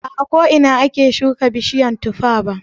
Ba a ko ina ake shuka bishiyar tuffa ba.